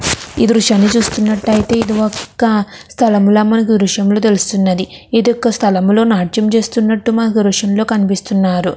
ఈ దృశ్యాన్ని చూస్తున్నట్టయితే ఇది ఒక స్థలం లాగా మనకీ దృశ్యం తెలుస్తున్నది. ఇది ఒక స్థలంలో నాట్యం చేస్తున్నట్టు మనకి దృశ్యంలో కనిపిస్తున్నారు.